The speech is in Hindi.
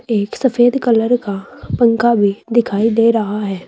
एक सफेद कलर का पंखा भी दिखाई दे रहा है।